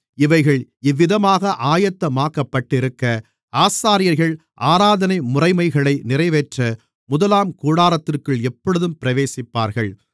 இவைகள் இவ்விதமாக ஆயத்தமாக்கப்பட்டிருக்க ஆசாரியர்கள் ஆராதனை முறைமைகளை நிறைவேற்ற முதலாம் கூடாரத்திற்குள் எப்பொழுதும் பிரவேசிப்பார்கள்